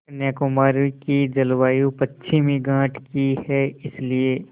कन्याकुमारी की जलवायु पश्चिमी घाट की है इसलिए